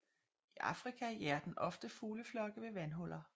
I Afrika jager den ofte fugleflokke ved vandhuller